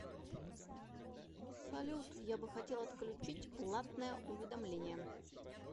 салют я бы хотел отключить платное уведомление